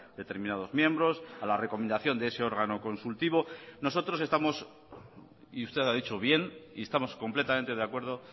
determinados miembros a la recomendación de ese órgano consultivo nosotros estamos y usted ha dicho bien y estamos completamente de acuerdo